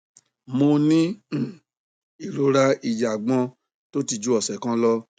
mo ní um ìrora ìjàgbọn tó ti ju ọsẹ kan lọ